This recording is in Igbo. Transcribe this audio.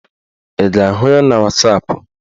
Ị ga-ahụ ya na wasapụ?